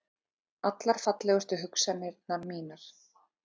Allar fallegustu hugsanir mínar.